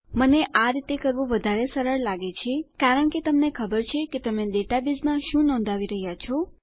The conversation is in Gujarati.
મને આ રીતે કરવું વધારે સરળ લાગે છે કારણ કે તમને ખબર છે કે તમે ડેટાબેઝમાં શું નોંધાવી રહ્યા છો